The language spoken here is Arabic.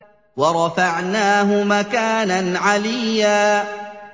وَرَفَعْنَاهُ مَكَانًا عَلِيًّا